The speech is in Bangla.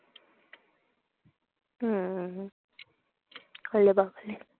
হম ওলে বাপলে